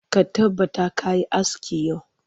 Ka tabbata ka yi aski yau!